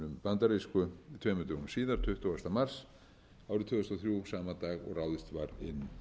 bandarísku tveimur dögum síðar tuttugasta mars árið tvö þúsund og þrjú sama dag og ráðist var inn